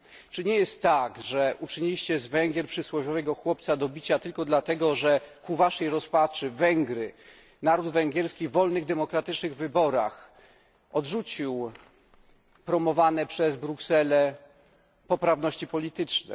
Czy nie jest tak, że uczyniliście z Węgier przysłowiowego chłopca do bicia tylko dlatego, że ku waszej rozpaczy Węgry, naród węgierski, w wolnych, demokratycznych wyborach odrzucił promowaną przez Brukselę poprawność polityczną?